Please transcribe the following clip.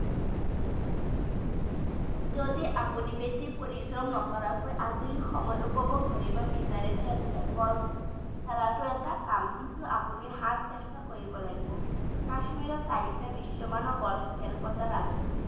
যদি আপুনি বেছি পৰিশ্ৰম নকৰাকৈ আজৰি সময় উপভোগ কৰিব বিছাৰে তেন্তে গল্ফ খেলাটো এটা কাম কিন্তু আপুনি hard চেষ্টা কৰিব লাগিব কাশ্মীৰত চাৰিটা বিশ্বমানৰ গল্ফ খেলপথাৰ আছে।